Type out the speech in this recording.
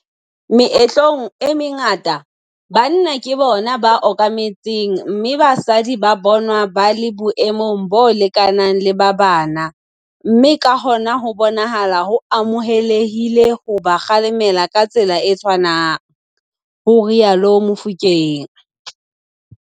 "Meetlong e mengata, banna ke bona ba okametseng mme basadi ba bonwa ba le boemong bo lekanang le ba bana mme ka hona ho bonahala ho amohelehile ho ba kgalema ka tsela e tshwanang," ho rialo Mofokeng.